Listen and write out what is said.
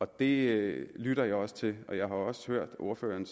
det lytter jeg også til og jeg har også hørt at ordføreren